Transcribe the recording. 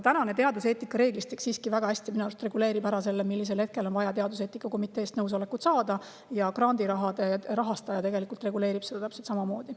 Aga teaduseetika reeglistik minu arust siiski väga hästi reguleerib seda, millisel hetkel on vaja teaduseetika komitee nõusolek saada, ja grandirahade rahastaja reguleerib seda tegelikult täpselt samamoodi.